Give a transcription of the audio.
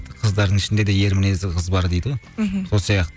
қыздардың ішінде де ер мінезді қыз бар дейді ғой мхм сол сияқты